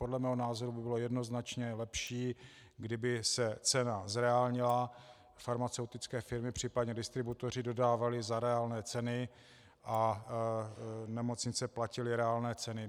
Podle mého názoru by bylo jednoznačně lepší, kdyby se cena zreálnila, farmaceutické firmy, případně distributoři dodávali za reálné ceny a nemocnice platily reálné ceny.